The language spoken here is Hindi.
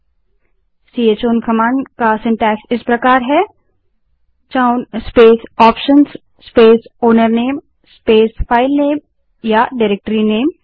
चौन कमांड का रचनाक्रम सिन्टैक्स इस प्रकार है space option space owner name space file name या डाइरेक्टरीनेम